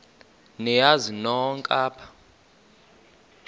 niyazi nonk apha